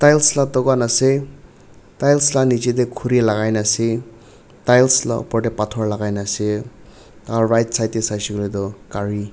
tiles laga tokan ase tiles laga niche te khori lagai kini ase tiles laga uper te pathor lagai kini ase tar right side te sai se leto kari--